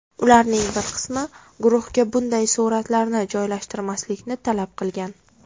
Ularning bir qismi guruhga bunday suratlarni joylashtirmaslikni talab qilgan.